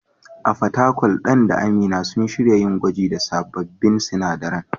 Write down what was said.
A Fatakwal, Dan da Amina sun shirya yin gwaji da sabbin sinadaran.